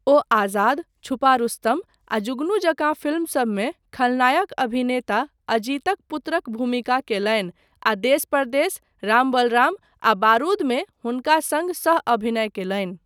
ओ 'आजाद', 'छुपा रुस्तम' आ 'जुगनू' जकाँ फिल्मसबमे खलनायक अभिनेता अजीतक पुत्रक भूमिका कयलनि आ 'देस परदेस', 'राम बलराम' आ 'बारूद' मे हुनका सङ्ग सह अभिनय कयलनि।